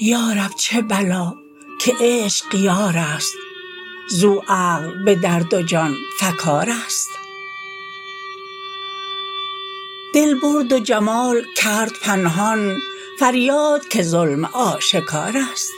یارب چه بلا که عشق یارست زو عقل به درد و جان فکارست دل برد و جمال کرد پنهان فریاد که ظلم آشکارست